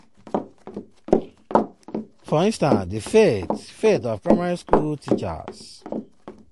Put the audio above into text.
for instance di fate fate of primary school teachers.